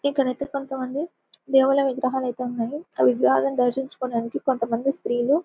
ఇక్కడైతే కొంత మంది దేవుళ్ళ విగ్రహాలైతే ఉన్నయి ఆ విగ్రహాలను దర్శించుకోడానికి కొంత మంది స్త్రీలు--